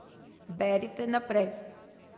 Berite naprej!